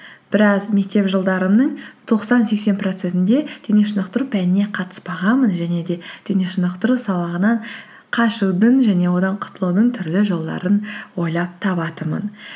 біраз мектеп жолдарымның тоқсан сексен процентінде денешынықтыру пәніне қатыспағанмын және де денешынықтыру сабағынан қашудың және одан құтулудың түрлі жолдарын ойлап табатынмын